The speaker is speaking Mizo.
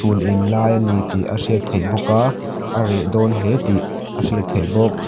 chhun en lai ani tih a hriat theih bawk a a reh dawn hle tih a hriat theih bawk.